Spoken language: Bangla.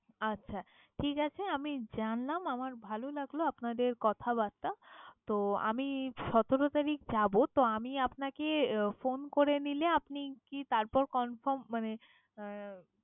আচ্ছা ঠিক আছে, আমি জানলাম, আমার ভালো লাগলো আপনাদের কথা-বার্তা। তো আমি সতেরো তারিখ যাবো। তো আমি আপনাকে phone করে নিলে আপনি কি তারপর confirm মানে আহ